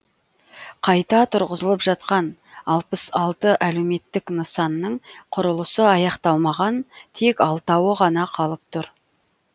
қайта тұрғызылып жатқан алпыс алты әлеуметтік нысанның құрылысы аяқталмаған тек алтауы ғана қалып тұр